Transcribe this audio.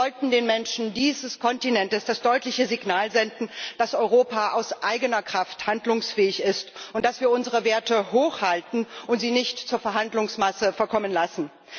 Wir sollten den Menschen dieses Kontinents das deutliche Signal senden, dass Europa aus eigener Kraft handlungsfähig ist und dass wir unsere Werte hochhalten und sie nicht zur Verhandlungsmasse verkommen lassen.